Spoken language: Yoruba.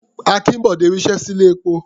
Akínbọ̀dé ri iṣẹ́ sí ilé-epo.